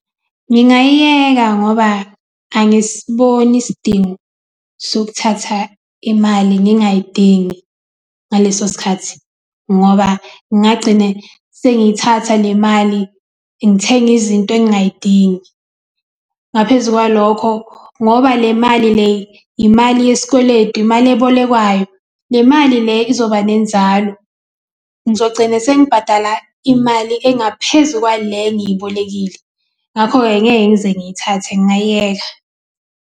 Ngingayiyeka ngoba angisiboni isidingo sokuthatha imali ngingayidingi ngaleso sikhathi ngoba ngagcine sengiyithatha le mali ngithenge izinto engay'dingi ngaphezu kwalokho, ngoba le mali le imali yesikweletu, imali ebolekwayo le mali le izoba nenzalo. Ngizogcina sengibhadala imali engaphezu kwale engiyibolekile, ngakho-ke ngeke ngize ngiyithathe ngingay'yeka.